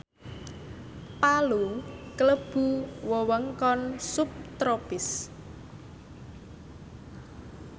Palu klebu wewengkon subtropis